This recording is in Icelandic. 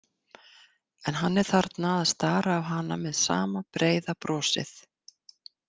En hann er þarna að stara á hana með sama breiða brosið.